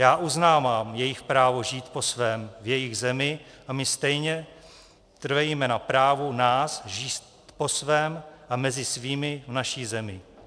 Já uznávám jejich právo žít po svém v jejich zemi a my stejně trvejme na právu nás žít po svém a mezi svými v naší zemi.